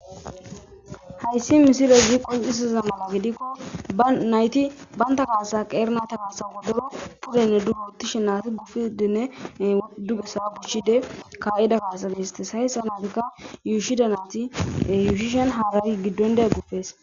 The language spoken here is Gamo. hayssi misile zii qoncisiza mana gidikko ba nayti baynta kaasa qeerna ta kaasawodoro pudenne duguti shenati gufidinne ddugasa buchide ka7ida kaasali histes hayssa naatikka yuushida nayti yuushishen haarari giddon de e gupees